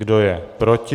Kdo je proti?